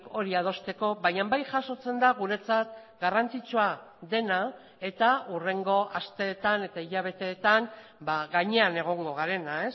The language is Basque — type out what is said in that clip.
hori adosteko baina bai jasotzen da guretzat garrantzitsua dena eta hurrengo asteetan eta hilabeteetan gainean egongo garena